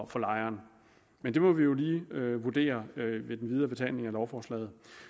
for lejeren men det må vi jo lige vurdere i den videre behandling af lovforslaget